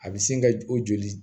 A bɛ sin ka o joli